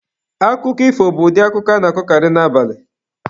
Akụkọ ifo bụ ụdị akụkọ a na-akọkarị n'abalị.